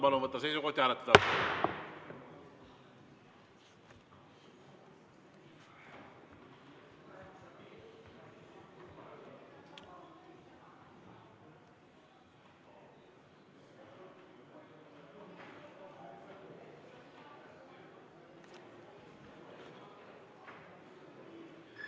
Palun võtta seisukoht ja hääletada!